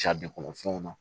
kɔnɔfɛnw na